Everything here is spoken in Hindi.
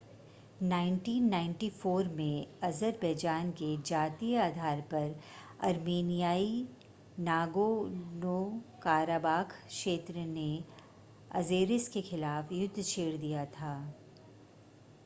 1994 में अज़रबैजान के जातीय आधार पर अर्मेनियाई नागोर्नो-काराबाख़ क्षेत्र ने अज़ेरिस के ख़िलाफ़ युद्ध छेड़ दिया था